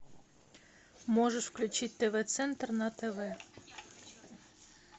можешь включить тв центр на тв